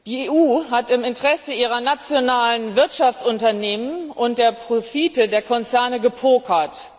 Die EU hat im Interesse ihrer nationalen Wirtschaftsunternehmen und der Profite der Konzerne gepokert.